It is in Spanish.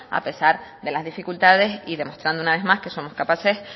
a pesar de las dificultades y demostrando una vez más que somos capaces